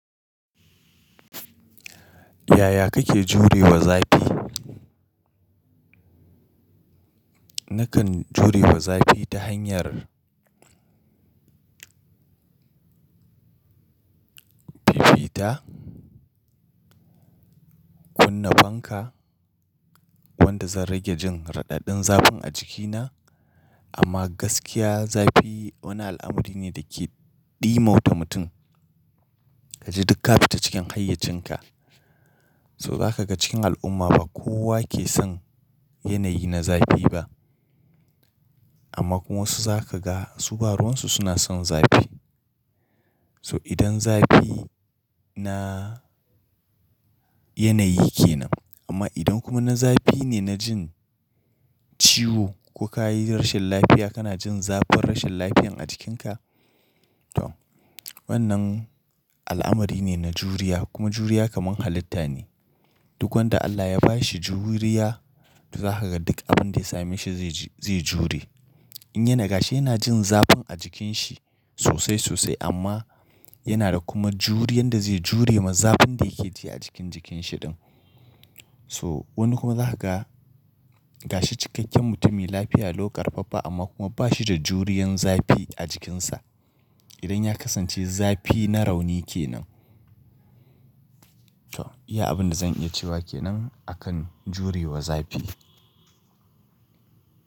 Yaya kake jurewa zafi? Nakan jurewa zafi ta hanyar fifita, kunna fanka wanda zan rage jin raɗaɗin zafin a jikina. Amma gaskiya zafi wani al'amari ne da ke ɗimauta mutum. Kaji duk ka fita cikin hayyacinka, so zaka ga cikin al'umma ba kowa ke son yanayi na zafi ba. Amma kuma wasu zaka ga su baruwansu suna son zafi. So idan zafi na yanayi kenan. Amma idan kuma na zafi ne na jin ciwo ko ka yi rashin lafiya kana jin zafin rashin lafiyar a jikinka, toh wannan al'amari ne na juriya. Kuma juriya kamar halitta ne. Duk wanda Allah ya ba shi juriya to zaka ga duk abin da ya same shi zai, zai jure. In yana gashi yana jin zafin a jikinshi sosai sosai amma yana da kuma juriyan da zai jure ma zafin da yake ji a cikin jikinshi din. Toh wani kuma za ka ga gashi cikakken mutumi lafiya lau karfaffa amma kuma ba shi da juriyan zafi a jikinsa. Idan ya kasance zafi na rauni kenan. To iya abin da zan iya cewa kenan akan jurewa zafi.